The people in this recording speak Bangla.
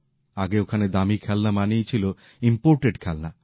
আগে ওখানে দামী খেলনা মানেই ছিল আমদানী করা খেলনা